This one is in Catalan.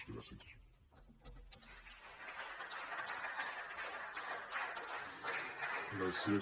gràcies